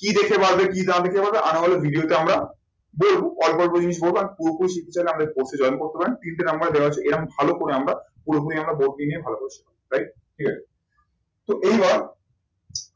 কি দেখে বাড়বে কি না দেখে বাড়বে video তে আমরা বলবো অল্প অল্প জিনিস বলবো আর পুরোপুরি শিখতে চাইলে আমাদের course এ join করতে পারেন। তিনটে number দেওয়া আছে। এবং ভালো করে আমরা পুরোপুরি আমরা ভালো করে right ঠিক আছে। তো এইবার